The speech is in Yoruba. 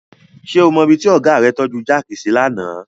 Ṣé o mọ ibi tí ọ̀gá rẹ tọ́ju jáàkì sí lánàá?